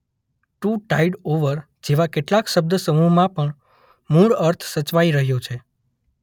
Two tide over જેવા કેટલાક શબ્દસમૂહમાં પણ મૂળ અર્થ સચવાઇ રહ્યો છે.